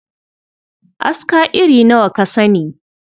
Aska iri nawa ka sani?